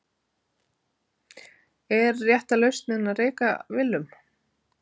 Er rétta lausnin að reka Willum?